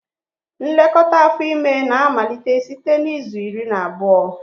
Nlekọta afọ ime na-amalite site na izu iri na abụọ